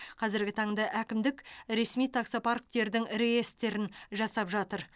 қазіргі таңда әкімдік ресми таксопарктердің реестрін жасап жатыр